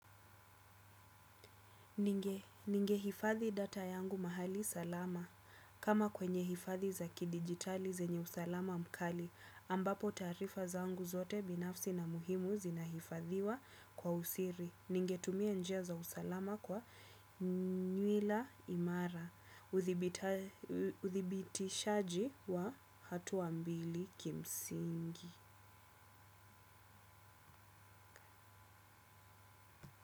Ningehifadhi data yangu mahali salama. Kama kwenye hifadhi za kidigitali zenye usalama mkali, ambapo taarifa zangu zote binafsi na muhimu zinahifadhiwa kwa usiri. Ningetumia njia za usalama kwa nywila imara. Uthibitishaji wa hatua mbili kimsingi.